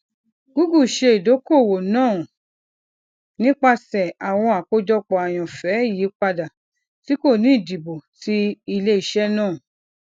google ṣe idokoowo naa nipasẹ awọn akojopo ayanfẹ iyipada ti ko ni idibo ti ileiṣẹ naa